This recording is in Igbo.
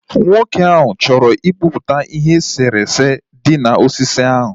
Nwoke ahụ chọrọ ịkpụpụta ihe eserese dị na osisi ahụ